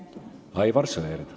Aivar Sõerd.